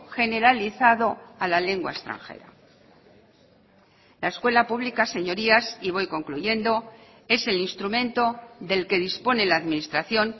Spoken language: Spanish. generalizado a la lengua extranjera la escuela pública señorías y voy concluyendo es el instrumento del que dispone la administración